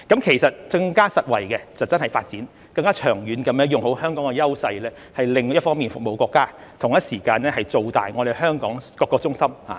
其實更實惠的方式真的是發展，更長遠地用好香港的優勢，一方面服務國家，同一時間造大香港各個中心。